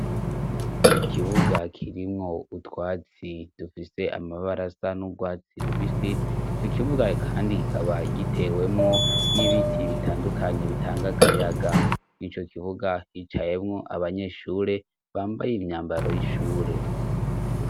Ikibuga kirimwo utwatsi dufise amabara asa n'urwatsi rubisi, ico kibuga kandi kikaba gitewemwo n'ibiti bitandukanye bitanga akayaga, mw'ico kibuga hicayemwo abanyeshure bambaye imyambaro y'ishure.